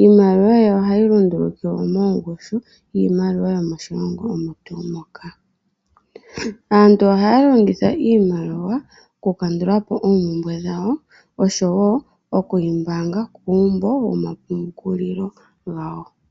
iimaliwa ye ohayi lundulukilwa mongushu yiimaliwa yomoshilongo omo tuu moka. Aantu ohaya longitha iimaliwa oku kandulapo oompumbwe dhawo osho woo okuyi mbaanga kuumbo woma pungulilo gawo.